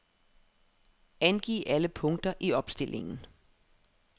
Angiv alle punkter i opstillingen.